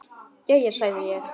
Jæja, sagði ég.